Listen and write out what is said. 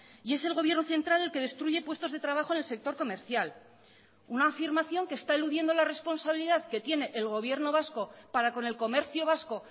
y es el gobierno central el que destruye puestos de trabajo en el sector comercial una afirmación que está eludiendo la responsabilidad que tiene el gobierno vasco para con el comercio vasco